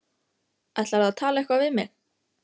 Ætlarðu að tala eitthvað við mig?